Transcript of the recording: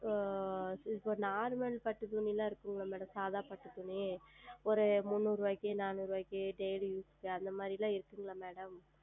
இப்பொழுது Normal பட்டு துணி இருக்கிறதா Madam சாதா பட்டு துணி ஓர் முன்னூறு ரூபாய்க்கு நானுறு ரூபாய்க்கு Ladies க்கு அந்த மாதிரி எல்லாம் இருக்கிறதா Madam